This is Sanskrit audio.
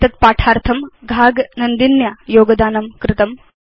एतद् पाठार्थं घाग नन्दिन्या योगदानं कृतम्